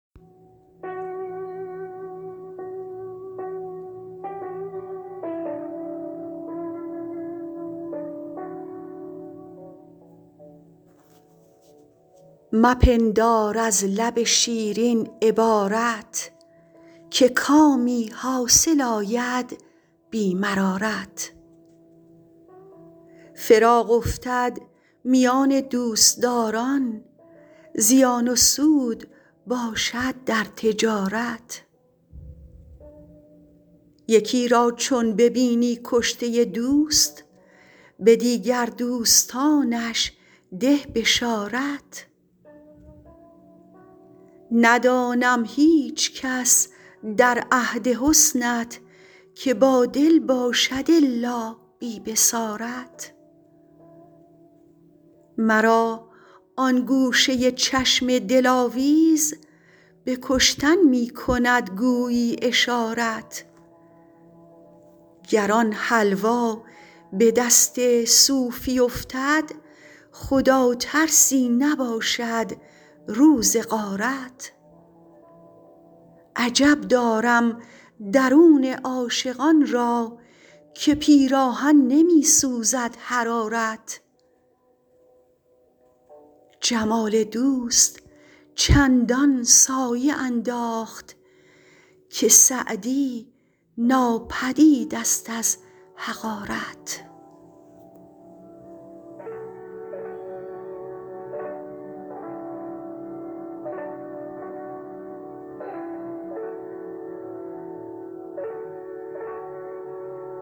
مپندار از لب شیرین عبارت که کامی حاصل آید بی مرارت فراق افتد میان دوستداران زیان و سود باشد در تجارت یکی را چون ببینی کشته دوست به دیگر دوستانش ده بشارت ندانم هیچکس در عهد حسنت که بادل باشد الا بی بصارت مرا آن گوشه چشم دلاویز به کشتن می کند گویی اشارت گر آن حلوا به دست صوفی افتد خداترسی نباشد روز غارت عجب دارم درون عاشقان را که پیراهن نمی سوزد حرارت جمال دوست چندان سایه انداخت که سعدی ناپدید ست از حقارت